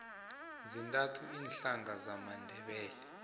zintathu iinhlanga zamandebele